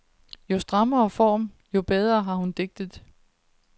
Jo strammere form, jo bedre har hun digtet.